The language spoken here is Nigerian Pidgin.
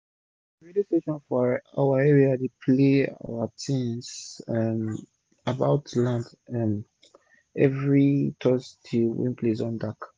radio station for our area dey play our tins um about land um everi thursday wen place don dark